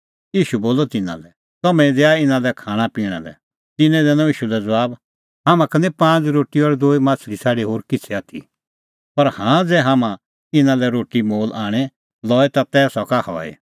ईशू बोलअ तिन्नां लै तम्हैं ई दैआ इना लै खाणां पिणां लै तिन्नैं दैनअ ईशू लै ज़बाब हाम्हां का निं पांज़ रोटी और दूई माह्छ़ली छ़ाडी होर किछ़ै आथी पर हाँ ज़ै हाम्हैं इना लै रोटी मोल आणे लई तै सका हई